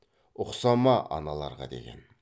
ұқсама аналарға деген